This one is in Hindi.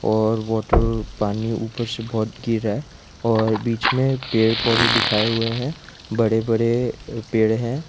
और वॉटर पानी ऊपर से बहुत गिर रहा है और बीच में पेड़ पौधे दिखाए हुए है बड़े बड़े पेड़ हैं।